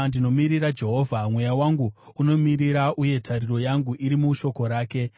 Ndinomirira Jehovha, mweya wangu unomirira, uye tariro yangu iri mushoko rake.